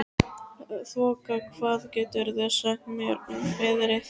Þoka, hvað geturðu sagt mér um veðrið?